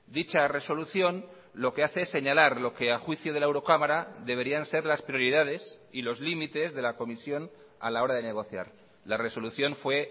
dicha resolución lo que hace es señalar lo que a juicio de la eurocámara deberían ser las prioridades y los límites de la comisión a la hora de negociar la resolución fue